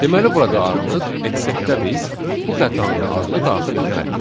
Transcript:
Deməli burada artıq acceptdə biz bu xətanın adını daxil etməliyik.